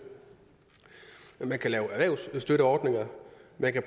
man kan lave erhvervsstøtteordninger man kan